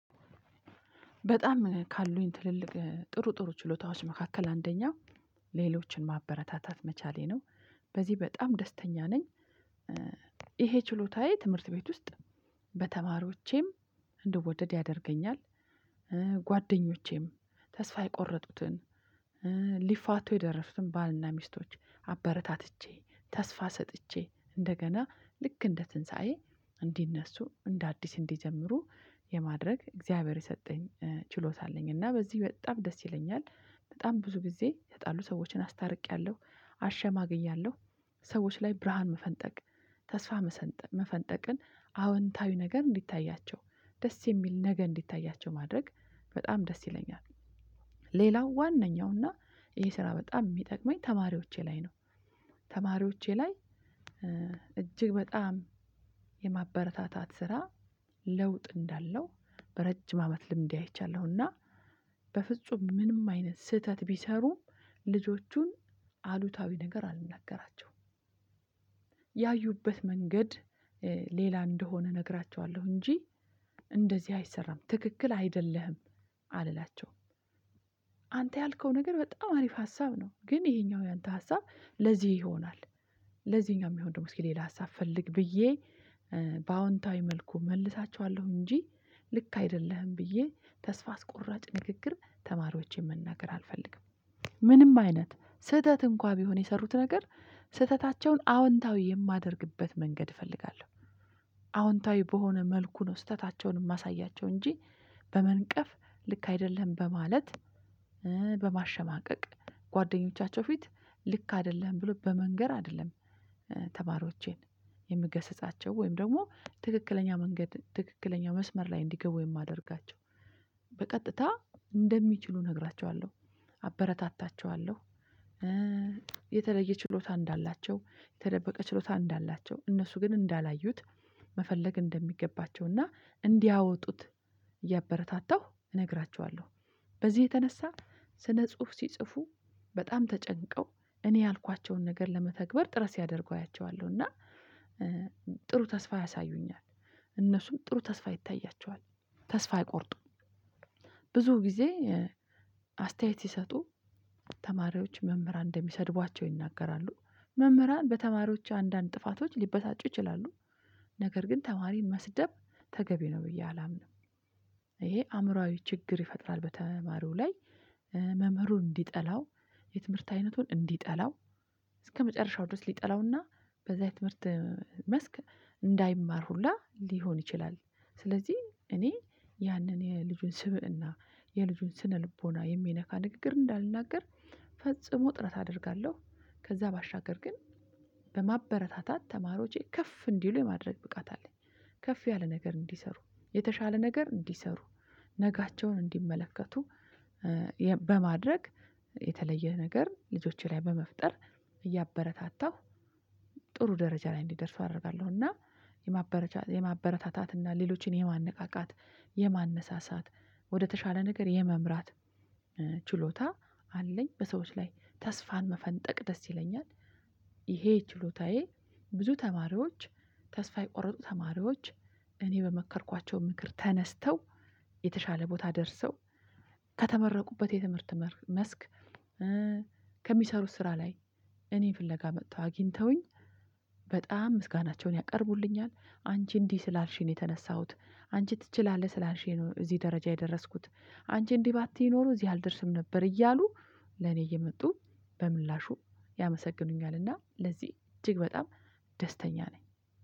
በጣም ካሉኝ ትልልቅ ጥሩ ጥሩ ችሎታዎች መካከል አንደኛው ሌሎችን ማበረታታት መቻሌ ነው። በዚህ በጣም ደስተኛ ነኝ። ይሄ ችሎታዬ ትምህርት ቤት ውስጥ በተማሪዎቼም እንድወደድ ያደርገኛል። ጓደኞቼም ተስፋ የቆረጡትን ሊፋቶ የደረሱትን ባልና ሚስቶች አበረታትቼ ተስፋ ሰጥቼ እንደገና ልክ እንደ ትንሳኤ እንዲነሱ እንደ አዲስ እንዲጀምሩ የማድረግ እግዚአብሔር የሰጠኝ ችሎታ አለኝ እና በዚህ በጣም ደስ ይለኛል። በጣም ብዙ ጊዜ የተጣሉ ሰዎችን አስታርቂያለሁ አሸማግያለሁ ሰዎች ላይ ብርሃን መፈንጠቅ ተስፋ መሰንጠ መፈንጠቅን አዎንታዊ ነገር እንዲታያቸው ደስ የሚል ነገ እንዲታያቸው ማድረግ በጣም ደስ ይለኛል። ሌላው ዋነኛው እና ይሄ ስራ በጣም የሚጠቅመኝ ተማሪዎቼ ላይ ነው። ተማሪዎቼ ላይ እጅግ በጣም የማበረታታት ስራ ለውጥ እንዳለው በረጅም አመት ልምዴ አይቻለሁና። በፍጹም ምንም አይነት ስህተት ቢሰሩም ልጆቹን አሉታዊ ነገር አልናገራቸውም። ያዩበት መንገድ ሌላ እንደሆነ እነግራቸዋለሁ እንጂ እንደዚህ አይሰራም ትክክል አይደለህም አልላቸውም። አንተ ያልከው ነገር በጣም አሪፍ ሀሳብ ነው። ግን ይሄኛው ያንተ ሀሳብ ለዚህ ይሆናል ለዚህኛው የሚሆን ደግሞ እስኪ ሌላ ሀሳብ ፈልግ ብዬ በአዎንታዊ መልኩ እመልሳቸዋለሁ። እንጂ ልክ አይደለህም ብዬ ተስፋ አስቆራጭ ንግግር ተማሪዎቼን መናገር አልፈልግም። ምንም አይነት ስህተት እንኳን ቢሆን የሰሩት ነገር ስህተታቸውን አዎንታዊ የማደርግበት መንገድ ፈልጋለሁ። አዎንታዊ በሆነ መልኩ ነው ስህተታቸውን የማሳያቸው እንጂ በመንቀፍ ልክ አይደለህም በማለት በማሸማቀቅ ጓደኞቻቸው ፊት ልክ አይደለህም ብሎ በመንገር አይደለም። ተማሪዎቼን የምገስጻቸው ወይም ደግሞ ትክክለኛ መንገድ ትክክለኛ መስመር ላይ እንዲገቡ የማደርጋቸው በቀጥታ እንደሚችሉ እነግራቸዋለሁ አበረታታቸዋለሁ። የተለየ ችሎታ እንዳላቸው የተደበቀ ችሎታ እንዳላቸው እነሱ ግን እንዳላዩት መፈለግ እንደሚገባቸው እና እንዲያወጡት እያበረታታሁ እነግራችኋለሁ። በዚህ የተነሳ ስነ ጽሁፍ ሲጽፉ በጣም ተጨንቀው እኔ ያልኳቸውን ነገር ለመተግበር ጥረት ሲያደርጉ አያቸዋለሁ እና ጥሩ ተስፋ ያሳዩኛል። እነሱም ጥሩ ተስፋ ይታያቸዋል ተስፋ አይቆርጡም። ብዙ ጊዜ አስተያየት ሲሰጡ ተማሪዎች መምህራን እንደሚሰድቧቸው ይናገራሉ መምህራን በተማሪዎች አንዳንድ ጥፋቶች ሊበሳጩ ይችላሉ ነገር ግን ተማሪን መስደብ ተገቢ ነው ብዬ አላምንም። ይህ አእምሮአዊ ችግር ይፈጥራል በተማሪው ላይ መምህሩን እንዲጠላው የትምህርት አይነቱን እንዲጠላው እስከመጨረሻው ድረስ ሊጠላውና በዛ የትምህርት መስክ እንዳይማር ሁላ ሊሆን ይችላል። ስለዚህ እኔ ያንን የልጁን ስብእና የልጁን ስነ ልቦና የሚነካ ንግግር እንዳልናገር ፈጽሞ ጥረት አደርጋለሁ። ከዛ ባሻገር ግን በማበረታታት ተማሪዎቼ ከፍ እንዲሉ የማድረግ ብቃት አለኝ። ከፍ ያለ ነገር እንዲሰሩ የተሻለ ነገር እንዲሰሩ ነገያቸውን እንዲመለከቱ በማድረግ የተለየ ነገር ልጆቼ ላይ በመፍጠር እያበረታታሁ ጥሩ ደረጃ ላይ እንዲደርሱ አረጋለሁ። እና የማበረታታት እና ሌሎችን የማነቃቃት የማነሳሳት ወደተሻለ ነገር የመምራት ችሎታ አለኝ በሰዎች ላይ ተስፋን መፈንጠቅ ደስ ይለኛል። ይሄ ችሎታዬ ብዙ ተማሪዎች ተስፋ የቆረጡ ተማሪዎች እኔ በመከርኳቸው ምክር ተነስተው የተሻለ ቦታ ደርሰው ከተመረቁበት የትምህርት መስክ ከሚሰሩት ስራ ላይ እኔን ፍለጋ መጥተው አግኝተውኝ በጣም ምስጋናቸውን ያቀርቡልኛል። አንቺ እንዲህ ስላልሽኝ ነው የተነሳሁት። አንቺ ትችላለህ ስላልሽኝ ነው እዚህ ደረጃ የደረስኩት። አንቺ እንዲህ ባትይ ኖሮ እዚህ አልደርስም ነበር። እያሉ ለኔ እየመጡ በምላሹ ያመሰግኑኛል እና ለዚህ እጅግ በጣም ደስተኛ ነኝ